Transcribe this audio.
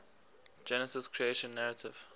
genesis creation narrative